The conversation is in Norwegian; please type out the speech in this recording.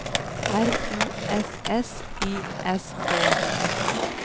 R U S S I S K